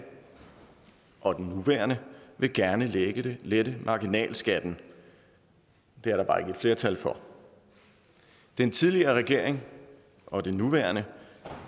og den nuværende vil gerne lette lette marginalskatten det er der bare ikke flertal for den tidligere regering og den nuværende